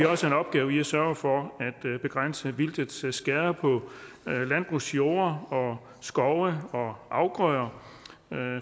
også en opgave i at sørge for at begrænse vildtets skader på landbrugsjorder skove og afgrøder